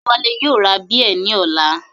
Adéwálé yóò ra bíẹ̀ ní ọ̀la